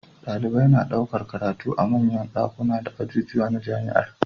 Dalibai na ɗaukar karatu a manyan dakunan da ajujuwa na jamiar